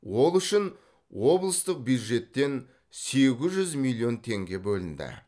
ол үшін облыстық бюджеттен сегіз жүз миллион теңге бөлінді